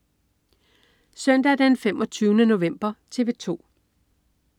Søndag den 25. november - TV 2: